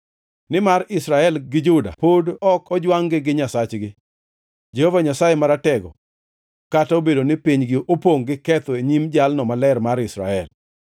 Nimar Israel gi Juda pod ok ojwangʼgi Nyasachgi, Jehova Nyasaye Maratego, kata obedo ni pinygi opongʼ gi ketho e nyim Jalno Maler mar Israel.